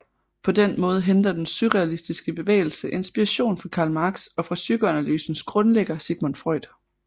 På den måde henter den surrealistiske bevægelse inspiration fra Karl Marx og fra psykoanalysens grundlægger Sigmund Freud